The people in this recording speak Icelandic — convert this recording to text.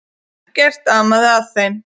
Ekkert amaði að þeim.